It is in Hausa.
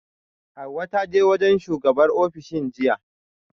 Hauwa ta je wajen shugabar ofishin jiya